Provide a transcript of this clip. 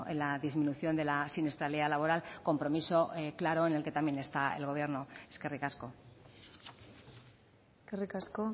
la disminución de la siniestralidad laboral compromiso claro en el que también está el gobierno eskerrik asko eskerrik asko